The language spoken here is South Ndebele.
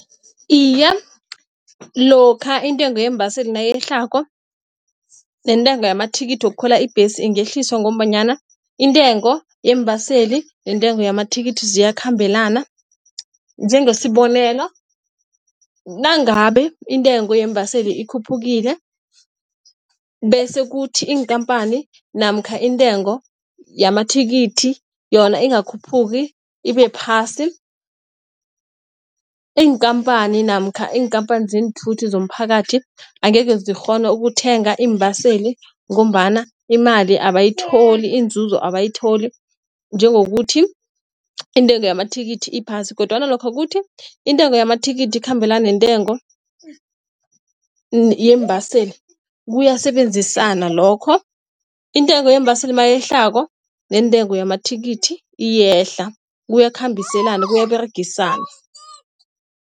Iye, lokha intengo yeembaseli nayehlako nentengo yamathikithi wokukhwela ibhesi ingehliswa ngombanyana intengo yeembaseli, nentengo yamathikithi ziyakhambelana, njengesibonelo nangabe intengo yeembaseli ikhuphukile bese kuthi iinkampani namkha intengo yamathikithi yona ingakakhuphuki ibe phasi. Iinkampani namkha iinkhampani zeenthuthi zomphakathi angeke zikghona ukuthenga iimbaseli, ngombana imali abayitholi, inzuzo abayitholi njengokuthi intengo yamathikithi iphasi kodwana lokha kuthi intengo yamathikithi ikhambelana neentengo yeembaseli kuyasebenzisana lokho. Intengo yeembaseli mayehlako nentengo yamathikithi iyehla kuyakhambiselana kuyaberegisana.